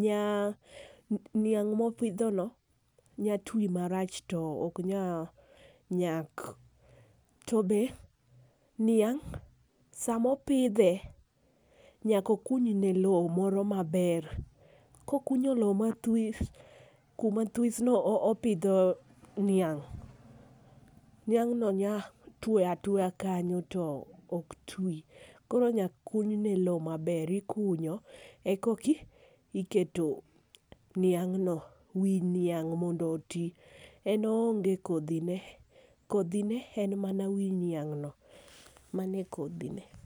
niang' ma opidho no nya ti marach to ne ok nyal nyak. To be niang' saa ma opidhe nyaka okunye ka moro ma ber, ko okunyo loo ma this to kuma this no opidho niang'. Niang no nya two atwoya kanyo to ok oti . Koro nyaka kuny ne loo ma ber ikunyo e kok iketo niang' no wii niang mondo oti. En oonge kodhi ne kodhi ne en mana wi niang' no. mano e kodhi ne.